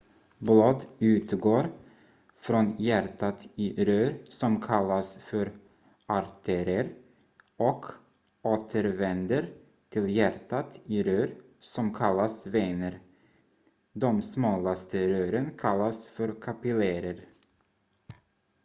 blod utgår från hjärtat i rör som kallas för artärer och återvänder till hjärtat i rör som kallas vener de smalaste rören kallas för kapillärer